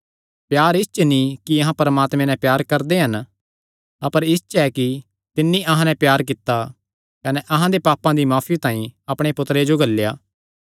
प्यार इस च नीं कि अहां परमात्मे नैं प्यार करदे हन अपर इस च ऐ कि तिन्नी अहां नैं प्यार कित्ता कने अहां दे पापां दी माफी तांई अपणे पुत्तरे जो घल्लेया